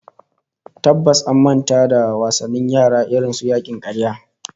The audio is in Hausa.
Tabbas an manta da wasannin yara irin su yakin karya